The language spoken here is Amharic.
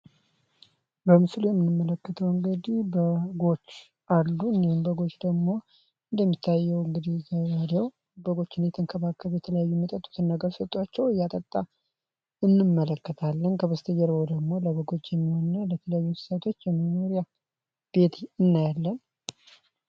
በምስሉ የምንመለከተው እንግዲህ በጎች አሉ እነዚህም በጎች ደግሞ እንደሚታየው እንግዲህ ሰውየው በጎችን እየተንከባከበ ነው። የተለያዩ ሚጠጡትን ኘርረ ሰጧቸው እያጠጣ እንመለከታለን እንዲሁም ከበስተጀርባው ደግሞ ለበጎች እና ለተለያዩ እንስሳት የሚሆን የከብቶች የመኖሪያ ቤት እናያለን።